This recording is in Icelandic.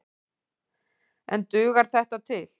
En dugar þetta til?